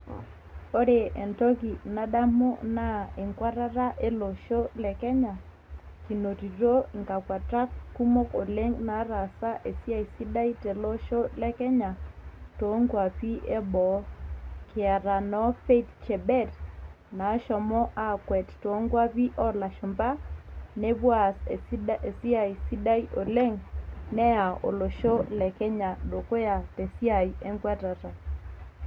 ore entoki nadamu naa enkuatata ele osho le kenya kinotito nkakuatak kumok oleng nataasa esiai sidai tele osho lekenya toonkuapi eboo kiata noo Faith chebet naashomo aakwet toonkuapi oolashumba nepuo aas esiai sidai oleng neya olosho le kenya dukuya tesiai enkwatata.